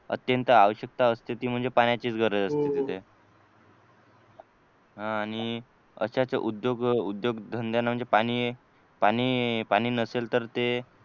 अत्यंत आवश्यकता असते ती म्हणजे पाण्याचीच गरज असते तिथे हा आणि अशाच उद्योग उद्योगधंद्यांना म्हणजे पाणी पाणी नसेल तर ते